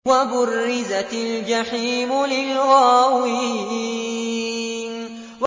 وَبُرِّزَتِ الْجَحِيمُ لِلْغَاوِينَ